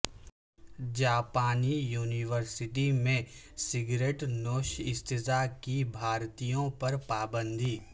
جاپانی یونیورسٹی میں سگریٹ نوش اساتذہ کی بھرتیوں پر پابندی